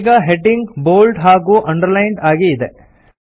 ಈಗ heading bold ಹಾಗೂ underlined ಆಗಿ ಇದೆ